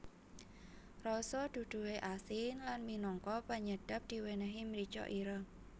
Rasa duduhe asin lan minangka penyedap diwenehi mrica ireng